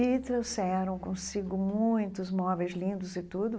E trouxeram consigo muitos móveis lindos e tudo.